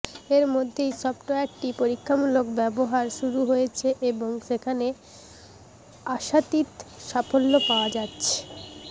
এর মধ্যেই সফটওয়্যারটি পরীক্ষামূলক ব্যবহার শুরু হয়েছে এবং সেখানে আশাতীত সাফল্য পাওয়া যাচ্ছে